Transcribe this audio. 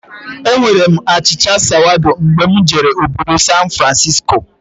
Enwere m achịcha sawado mgbe mụ jere obodo San Francisco